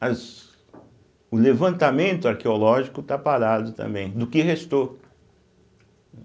mas o levantamento arqueológico está parado também, do que restou.